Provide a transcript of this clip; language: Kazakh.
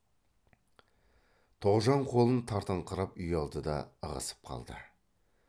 тоғжан қолын тартыңқырап ұялды да ығысып қалды